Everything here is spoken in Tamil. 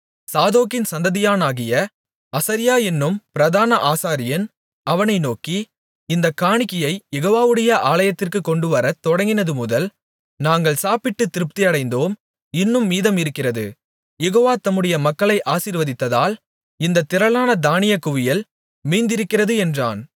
சாதோக்கின் சந்ததியானாகிய அசரியா என்னும் பிரதான ஆசாரியன் அவனை நோக்கி இந்தக் காணிக்கையைக் யெகோவாவுடைய ஆலயத்திற்குக் கொண்டுவரத் தொடங்கினதுமுதல் நாங்கள் சாப்பிட்டுத் திருப்தியடைந்தோம் இன்னும் மீதம் இருக்கிறது யெகோவா தம்முடைய மக்களை ஆசீர்வதித்ததால் இந்தத் திரளான தானியக் குவியல் மீந்திருக்கிறது என்றான்